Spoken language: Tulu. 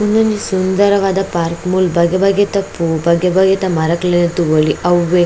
ಉಂದೊಂಜಿ ಸುಂದರವಾದ ಪಾರ್ಕ್ ಮೂಲ್ ಬಗೆ ಬಗೆತ ಪೂ ಬಗೆ ಬಗೆತ ಮರಕ್ಲೆನ್ ತೂವೊಲಿ ಅವ್ವೆ --